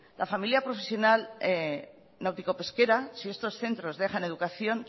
la formación profesional náutico pesquera si estos centros dejan educación